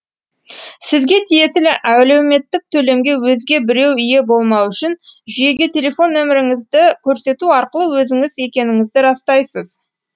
сізге тиесілі әлеуметтік төлемге өзге біреу ие болмауы үшін жүйеге телефон нөміріңізді көрсету арқылы өзіңіз екеніңізді растайсыз